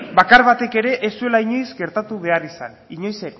bakar batek ere ez zuela inoiz gertatu behar izan inoiz